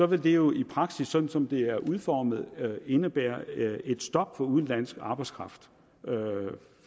vil jo i praksis sådan som det er udformet indebære et stop for udenlandsk arbejdskraft